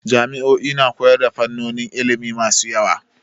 Jami'o'i na koyar da fannonin ilimi masu yawa.